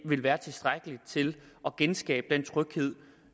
vil være tilstrækkeligt til at genskabe den tryghed